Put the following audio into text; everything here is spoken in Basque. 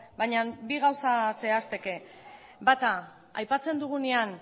baina bi gauza zehazteke bata aipatzen dugunean